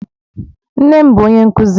Nne m bu onye nkuzi